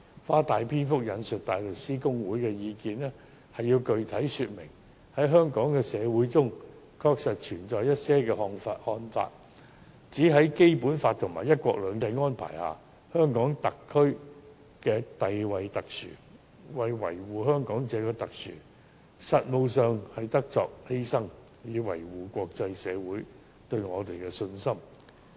我長篇大論引述大律師公會的意見，無非想具體說明，在香港社會中確實存在一些看法，認為在《基本法》和"一國兩制"的安排下，香港特區地位特殊；為了維護香港這種獨特性，在實務上便得作出犧牲，以維護國際社會對我們的信心。